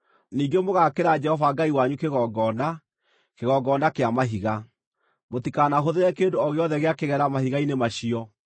Ningĩ mũgaakĩra Jehova Ngai wanyu kĩgongona, kĩgongona kĩa mahiga. Mũtikanahũthĩre kĩndũ o gĩothe gĩa kĩgera mahiga-inĩ macio.